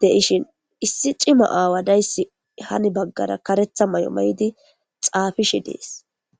de ishin issi cima aawa dayssi hani baggara karetha may7o ma7idi xaafishi dees